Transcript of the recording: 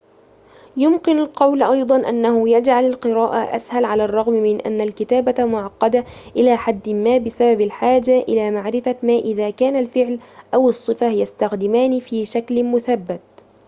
يمكن القول أيضاً أنه يجعل القراءة أسهل على الرغم من أن الكتابة معقدة إلى حد ما بسبب الحاجة إلى معرفة ما إذا كان الفعل أو الصفة يستخدمان في شكل مثبت